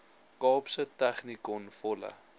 kaapse technikon volle